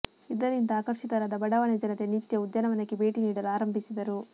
ಇದರಿಂದ ಆಕರ್ಷಿತರಾದ ಬಡಾವಣೆ ಜನತೆ ನಿತ್ಯ ಉದ್ಯಾನವನಕ್ಕೆ ಭೇಟಿ ನೀಡಲು ಆರಂಭಿಸಿದರು